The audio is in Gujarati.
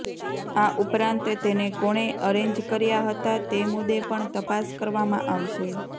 આ ઉપરાંત તેને કોણે અરેન્જ કર્યા હતા તે મુદ્દે પણ તપાસ કરવામાં આવશે